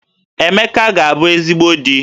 Emeka ga-abu ezigbo di